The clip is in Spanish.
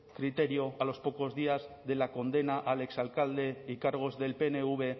criterio a los pocos días de la condena al exalcalde y cargos del pnv